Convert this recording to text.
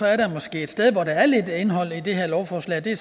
er der måske et sted hvor der er lidt indhold i det her lovforslag det